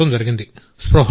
స్పృహలో లేదు